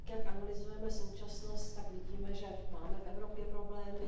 Tak, jak analyzujeme současnost, tak vidíme, že máme v Evropě problémy.